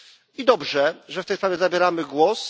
I dobrze, że w tej w sprawie zabieramy głos.